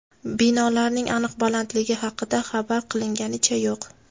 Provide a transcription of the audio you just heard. Binolarning aniq balandligi haqida xabar qilinganicha yo‘q.